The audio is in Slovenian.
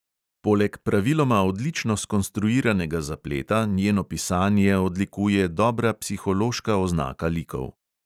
Poleg praviloma odlično skonstruiranega zapleta njeno pisanje odlikuje dobra psihološka oznaka likov.